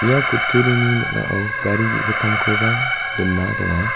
ia kutturini ning·ao gari ge·gittamkoba dona donga.